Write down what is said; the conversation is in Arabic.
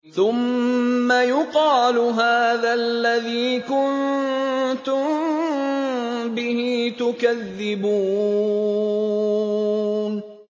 ثُمَّ يُقَالُ هَٰذَا الَّذِي كُنتُم بِهِ تُكَذِّبُونَ